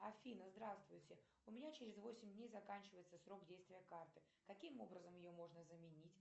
афина здравствуйте у меня через восемь дней заканчивается срок действия карты каким образом ее можно заменить